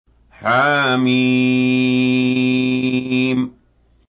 حم